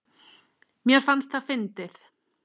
Mér fannst það fyndið.